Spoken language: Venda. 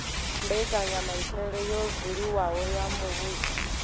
mbekanyamaitele yo buliwaho ya muvhuso